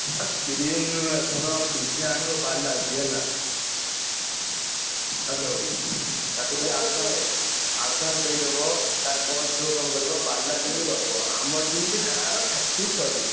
ହାକ ଶୁଣ DJ ଆଣିବ ବାଲାଜି ହେଲା। hello ତାକୁ ଟିକେ advance advance ଦେଇଦବ।